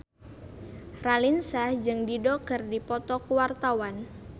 Raline Shah jeung Dido keur dipoto ku wartawan